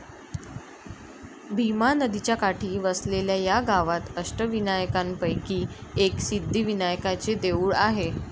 भीमा नदीच्या काठी वसलेल्या या गावात अष्टविनायकांपैकी एक सिद्धिविनायकाचे देऊळ आहे.